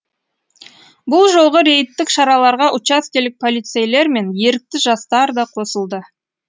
бұл жолғы рейдтік шараларға учаскелік полицейлер мен ерікті жастар да қосылды